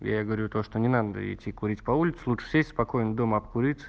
я говорю то что не надо идти курить по улице лучше сесть спокойно дома обкуриться